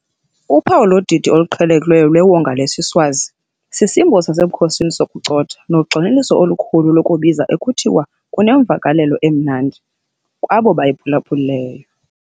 Uphawu lodidi oluqhelekileyo lwewonga lesiSwazi sisimbo sasebukhosini sokucotha, nogxininiso olukhulu lokubiza, ekuthiwa kunemvakalelo 'emnandi' kwabo bayiphulaphuleyo.